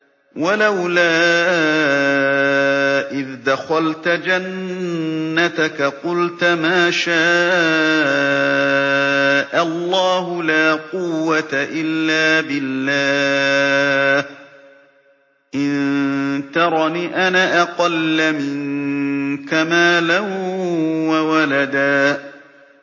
وَلَوْلَا إِذْ دَخَلْتَ جَنَّتَكَ قُلْتَ مَا شَاءَ اللَّهُ لَا قُوَّةَ إِلَّا بِاللَّهِ ۚ إِن تَرَنِ أَنَا أَقَلَّ مِنكَ مَالًا وَوَلَدًا